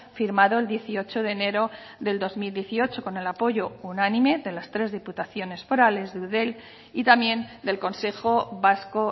firmado el dieciocho de enero del dos mil dieciocho con el apoyo unánime de las tres diputaciones forales de eudel y también del consejo vasco